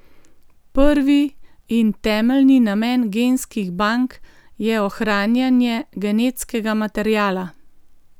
Prvi in temeljni namen genskih bank je ohranjanje genetskega materiala.